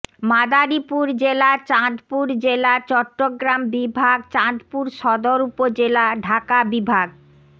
মাদারীপুর জেলা চাঁদপুর জেলা চট্টগ্রাম বিভাগ চাঁদপুর সদর উপজেলা ঢাকা বিভাগ